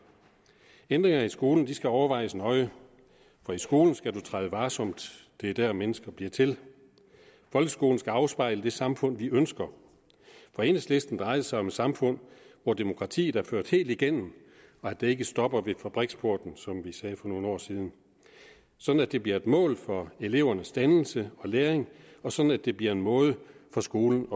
ændringer af skolen skal overvejes nøje for i skolen skal man træde varsomt det er der mennesker bliver til folkeskolen skal afspejle det samfund vi ønsker for enhedslisten drejer det sig om et samfund hvor demokratiet er ført helt igennem og ikke stopper ved fabriksporten som vi sagde for nogle år siden sådan at det bliver et mål for elevernes dannelse og læring og sådan at det bliver en måde for skolen